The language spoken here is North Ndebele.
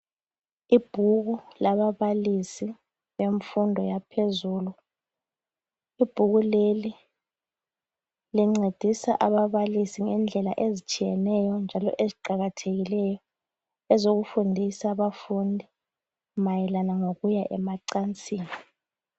Ibhuku lababalisi bemfundo yaphezulu, ibhuku leli lincedisa ababalisi ngendlela ezitshiyeneyo njalo eziqakathekileyo ezokufundisa abafundi mayelana ngokuya emacansini.